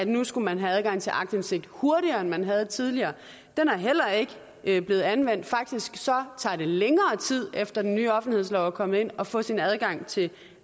nu skulle have adgang til aktinsigt hurtigere end man havde tidligere er heller ikke blevet anvendt faktisk tager det længere tid efter den nye offentlighedslov er kommet ind at få sin adgang til